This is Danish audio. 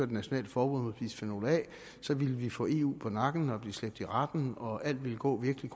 et nationalt forbud mod bisfenol a ville vi få eu på nakken og blive slæbt i retten og alt ville gå virkelig